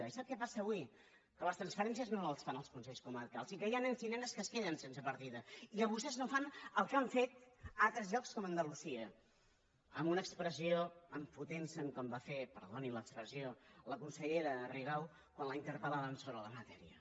i sap què passa avui que les transferències no les fan els consells comarcals i que hi ha nens i nenes que es queden sense partida i que vostès no fan el que han fet a altres llocs com a andalusia amb una expressió enfotentse’n com va fer perdoni l’expressió la consellera rigau quan la interpel·laven sobre la matèria